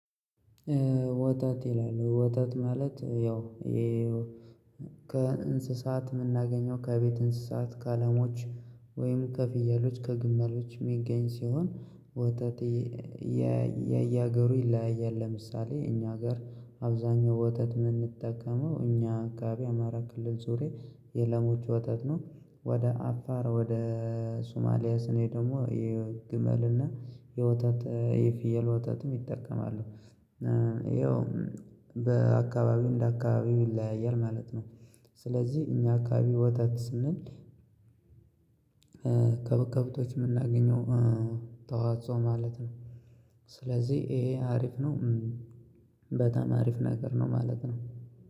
ወተት ይላል ወተት ማለት ያው ከእንስሳት የምናገኘው ከቤት እንስሳት ከለሞች ወይም ከፍየሎች ከግመሎች ሚገኝ ሲሆን ወተት። የየሀገሩ ይለያያል ለምሳሌ እኛ ሀገር አብዛኛው ወተት የምንጠቀመው እኛ አካባቢ አማራ ክልል ዙርያ የለሞች ወተት ነው። ወደ አፋር ወደ ሱማሊያ ስንሄድ ደግሞ የግመል እና የወታት የፍየል ወታትም ይጠቀማሉ። ይኸው በአካባቢው እንደ አካባቢው ይለያያል ማለት ነው። ስለዚህ እኛ አካባቢ ወተት ስንል ከብ ከብቶች የምናገኘው ተዋጾ ማለት ነው። ስለዚህ ይሄ አሪፍ ነው። በጣም አሪፍ ነገር ነው ማለት ነው